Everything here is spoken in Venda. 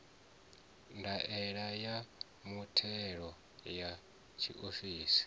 ndaela ya muthelo ya tshiofisi